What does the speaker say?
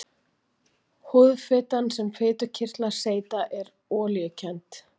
Húðfitan sem fitukirtlar seyta er olíukennd.